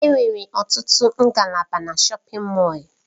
Enwere ọtụtụ ngalaba na shọpin Mọll.